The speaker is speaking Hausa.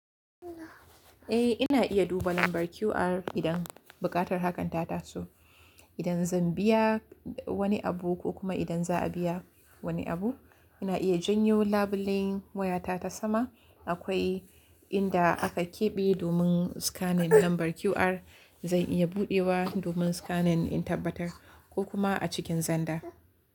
Eh ina iya duba lambar QR idan buƙatar hakan ta taso. Idan zan biya wani abu ko kuma idan za a biya wani abu, ina iya janyo labulen wayata ta sama. Akwai inda aka keɓe domin scanning lambar QR. Zan iya buɗewa domin scanning in tabbatar ko kuma a cikin zanda.